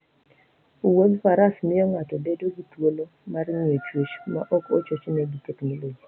Wuoth Faras miyo ng'ato bedo gi thuolo mar ng'iyo chwech maok ochochne gi teknoloji.